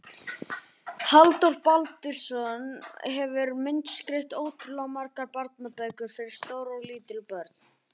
Halldór Baldursson hefur myndskreytt ótrúlega margar barnabækur fyrir stór og lítil börn.